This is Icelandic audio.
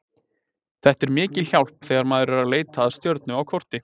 Þetta er mikil hjálp þegar maður er að leita að stjörnu á korti.